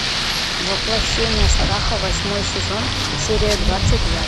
воплощение страха восьмой сезон серия двадцать два